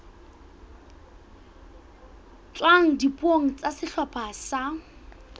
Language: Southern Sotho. tswang dipuong tsa sehlopha sa